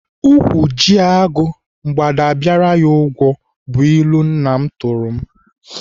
Ụkwụ ji agụ, mgbada abịara ya ụgwọ bụ ilu nna m tụrụ m.